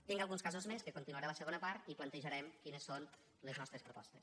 tinc alguns casos més que continuaré a la segona part i plantejarem quines són les nostres propostes